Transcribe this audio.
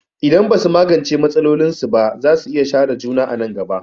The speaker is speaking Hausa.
Idan ba su magance matsalolinsu ba, za su iya share juna a nan gaba.